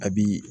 A bi